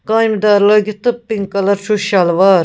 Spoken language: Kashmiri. کامہِ دارلٲگِتھ تہٕ پِنک کلر .چُھس شلوار